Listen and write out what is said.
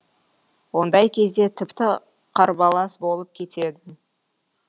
ондай кезде тіпті қарбалас болып кетеді